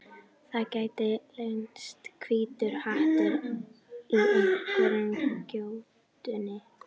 Það gæti leynst hvítur hattur í einhverri gjótunni.